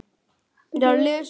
Báðir sungu.